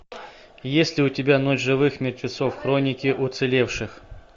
есть ли у тебя ночь живых мертвецов хроники уцелевших